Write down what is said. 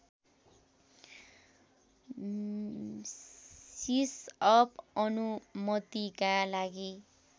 सिसअप अनुमतिका लागि